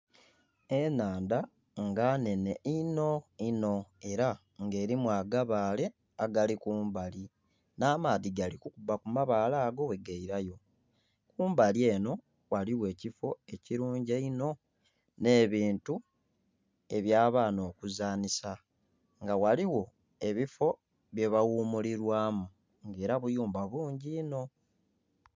Ennhandha nga nnhenhe inho inho era nga elimu agabaale agali kumbali. Nh'amaadhi gali kukuba ku mabaale ago bwegailayo. Kumbali enho ghaligho ekifo ekirungi einho, nh'ebintu eby'abaana okuzanhisa. Nga ghaligho ebifo byebaghumulirwamu era buyumba bungi inho.